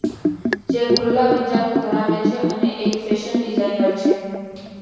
જે ખુલ્લા વિચારો ધરાવે છે અને એક ફેશન ડિઝાઇનર છે